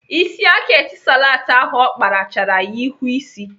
Isi aka Etisalat ahụ ọ kpara chara ya ihu ịsị.